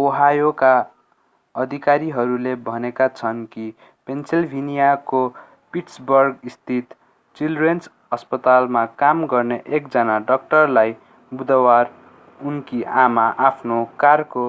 ओहायोका अधिकारीहरूले भनेका छन् कि पेन्सिल्भेनियाको पिट्सबर्गस्थित चिल्ड्रेन्स अस्पतालमा काम गर्ने एकजना डाक्टरलाई बुधवार उनकी आमा आफ्नो कारको